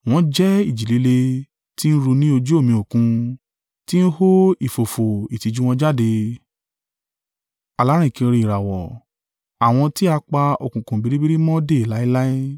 Wọ́n jẹ́ ìjì líle ti ń ru ní ojú omi Òkun, ti ń hó ìfófó ìtìjú wọn jáde; alárìnkiri ìràwọ̀, àwọn tí a pa òkùnkùn biribiri mọ́ dè láéláé.